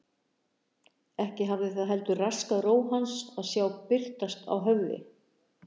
Ekki hafði það heldur raskað ró hans að sjá birtast á höfði